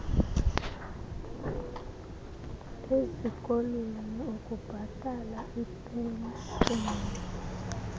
ezikolweni ukubhatala iipenshini